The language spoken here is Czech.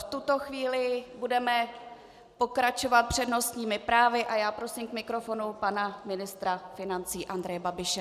V tuto chvíli budeme pokračovat přednostními právy a já prosím k mikrofonu pana ministra financí Andreje Babiše.